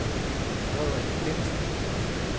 Frederik Bengtsen